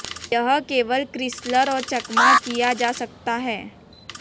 यह केवल क्रिसलर और चकमा किया जा सकता है